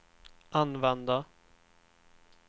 använda